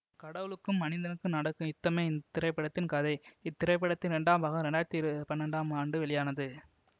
கடவுளுக்கும் மனிதனுக்கும் நடக்கும் யுத்தமே இந்த திரைப்படத்தின் கதை இத் திரைப்படத்தின் இரண்டாம் பாகம் இரண்டு ஆயிரத்தி இரு பன்னண்டாம் ஆண்டு வெளியானது